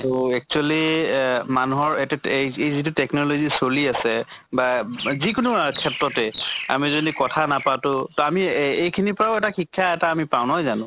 তʼ actually এহ মানুহৰ এইটোত এহ যি যটো technology চলি আছে বা যি কোনো আ ক্ষেত্ৰতে আমি যদি কথা নাপাতো আমি এই এইখিনিৰ পৰাও এটা শিক্ষা এটা পাওঁ, নহয় জানো?